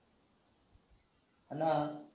हाना